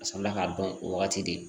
A sɔrɔla k'a dɔn o wagati de